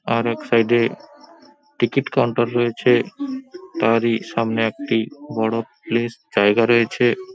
আর এক সাইড -এ ticket counter রয়েছে তারই সামনে একটি বড় প্লেস জায়গা রয়েছে।